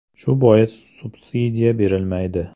Shu bois subsidiya berilmaydi”.